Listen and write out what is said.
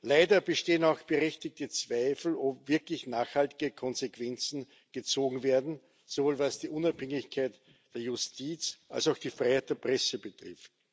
Leider bestehen auch berechtigte Zweifel, ob wirklich nachhaltige Konsequenzen gezogen werden sowohl was die Unabhängigkeit der Justiz als auch die Freiheit der Presse betrifft.